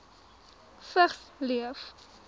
vigs leef